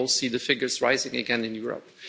We all see the figures rising again in Europe.